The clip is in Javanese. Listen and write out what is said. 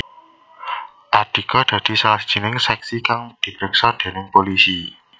Andika dadi salah sijining seksi kang dipriksa déning pulisi